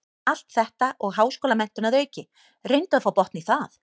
Allt þetta og háskólamenntun að auki, reyndu að fá botn í það.